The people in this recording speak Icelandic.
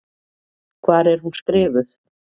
Hvar er hún skrifuð?